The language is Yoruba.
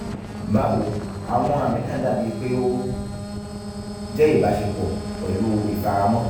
bawo àwọn ààmì náà dàbíi pé ó jẹ́ ìbáṣepọ̀ pẹ̀lú ìfaramọ́